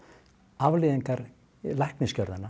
afleiðingar